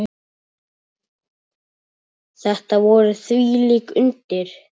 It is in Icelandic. Þetta voru þvílík undur.